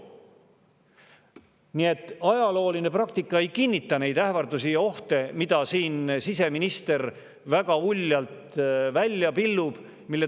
Nii et ajalooline praktika ei kinnita neid ähvardusi ja ohte, mida siseminister siin väga uljalt välja pillub.